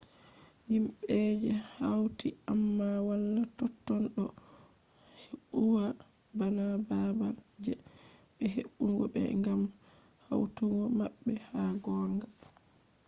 himbe je hauti amma wala totton do huwa bana babal je be hebugo be gam hautugo mabbe ha gonga